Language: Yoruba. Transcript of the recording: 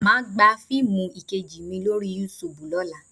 Mà á gba fiimu 'Ìkejì mi' lórí Yúutùbù lọ́la